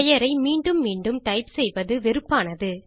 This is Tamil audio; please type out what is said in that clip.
பெயரை மீண்டும் மீண்டும் டைப் செய்வது வெறுப்பானது